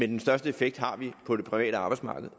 den største effekt har vi på det private arbejdsmarked